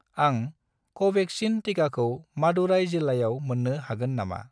आं कवेक्सिन टिकाखौ मादुराइ जिल्लायाव मोन्नो हागोन नामा?